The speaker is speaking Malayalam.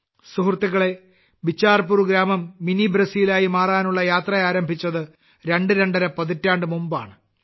സുഹൃത്തുക്കളേ ബിച്ചാർപൂർ ഗ്രാമം മിനി ബ്രസീലായി മാറാനുള്ള യാത്ര ആരംഭിച്ചത് രണ്ട് രണ്ടര പതിറ്റാണ്ട് മുമ്പാണ്